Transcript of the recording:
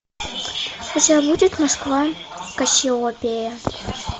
у тебя будет москва кассиопея